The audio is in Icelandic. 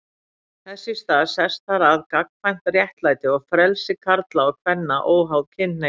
Þess í stað sest þar að gagnkvæmt réttlæti og frelsi karla og kvenna óháð kynhneigð.